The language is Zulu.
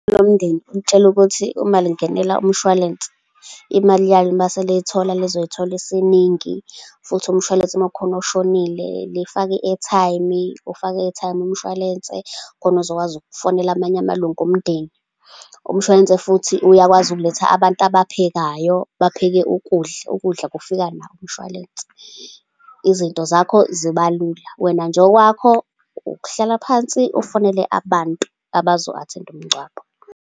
Lomndeni ulitshele ukuthi uma lingenela umshwalense, imali yalo mase seliyithola lizoyithola esiningi, futhi umshwalense ma kukhona oshonile lifake i-airtime, ufaka i-airtime umshwalense, khona uzokwazi ukufonela amanye amalunga omndeni. Umshwalense futhi uyakwazi ukuletha abantu abaphekayo. Bapheke ukudla. Ukudla kufika nawo umshwalense. Izinto zakho ziba lula. Wena nje okwakho ukuhlala phansi, ufonele abantu abazo-attend-a umngcwabo.